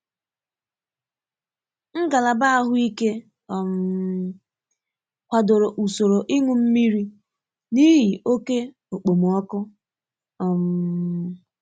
Ngalaba ahụike um kwadoro usoro ịnù mmiri n'ihi oke okpomọkụ. um